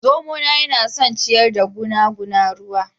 Zomona yana son ciyar da guna na ruwa